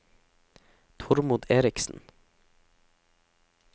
Tormod Eriksen